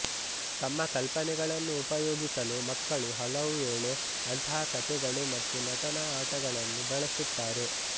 ತಮ್ಮ ಕಲ್ಪನೆಗಳನ್ನು ಉಪಯೋಗಿಸಲು ಮಕ್ಕಳು ಹಲವುವೇಳೆ ಅಂತಹ ಕಥೆಗಳು ಮತ್ತು ನಟನಾ ಆಟಗಳನ್ನು ಬಳಸುತ್ತಾರೆ